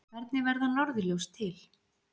Hvernig verða norðurljós til?